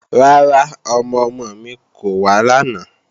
Rárá, ọmọ-ọmọ mi kò wá làná